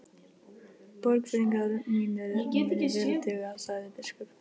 Borgfirðingar mínir munu vel duga, sagði biskup.